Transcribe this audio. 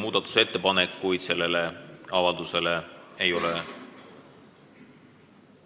Muudatusettepanekuid selle avalduse kohta ei ole